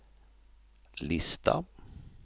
lista